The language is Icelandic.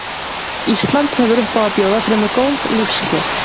Ísland hefur upp á að bjóða fremur góð lífskjör.